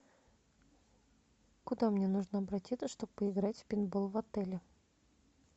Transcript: куда мне нужно обратиться чтобы поиграть в пейнтбол в отеле